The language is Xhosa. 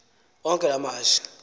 onke la mashi